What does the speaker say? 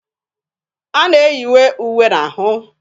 A na-eyinye uwe n'ahụ.